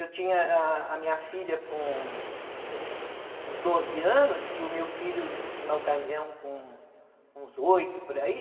Eu tinha a a minha filha com uns doze anos e o meu filho, na ocasião, com uns oito, por aí.